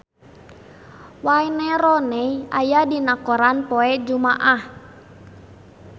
Wayne Rooney aya dina koran poe Jumaah